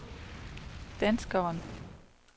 danskeren